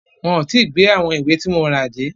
Wọn ò tí gbé àwọn ìwé tí mo rà dé.